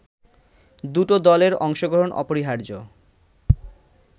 দুটো দলের অংশগ্রহণ অপরিহার্য